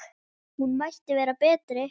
Hún mætti vera betri.